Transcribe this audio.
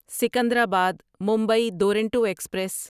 Secunderabad Mumbai Duronto express